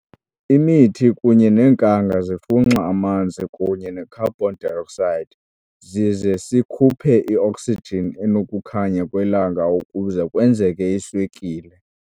Imithi kunye nenkanga zifunxa amanzi kunye necarbon dioxide zize sikhuphe ioxygen enokukhanya kwelanga ukuze kwenzeke iswekile.